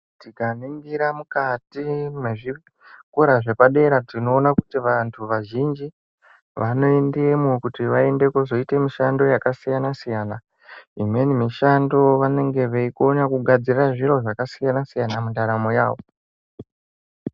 Tikaningira mukati mwezvikora zvepadera tinoona kuti vantu vazhinji vanoendemwo kuti vaende kozoite mishando yakasiyana siyana. Imweni mishando vanenge veikona kugadzira zviro zvakasiyana siyana mundaramo yavo.